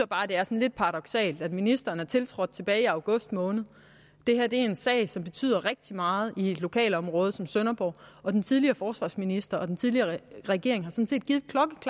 bare at det er lidt paradoksalt at ministeren er tiltrådt tilbage i august måned det her er en sag som betyder rigtig meget i et lokalområde som sønderborg og den tidligere forsvarsminister og den tidligere regering